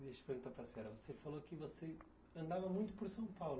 Deixa eu perguntar para a senhora, você falou que você andava muito por São Paulo